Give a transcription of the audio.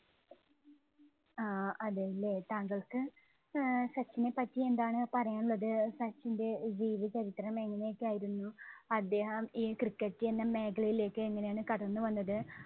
ആഹ് അതേല്ലേ, താങ്കള്‍ക്ക് അഹ് സച്ചിനെ പറ്റി എന്താണ് പറയാന്‍ ഉള്ളത്? സച്ചിന്‍റെ ജീവചരിത്രം എങ്ങനെയൊക്കെയായിരുന്നു? അദ്ദേഹം ഈ cricket ഇന്‍റെ മേഖലയിലേക്ക് എങ്ങനെയാണ് കടന്നു വന്നത്?